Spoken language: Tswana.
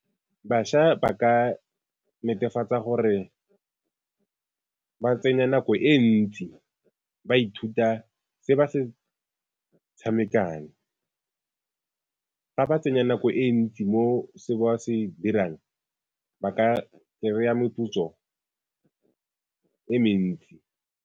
Bašwa ba ka netefatsa gore ba tsene nako e ntsi ba ithuta se ba se tshamekang fa ba tsenya nako e ntsi mo se ba se dirang ba ka kry-a moputso e mentsi.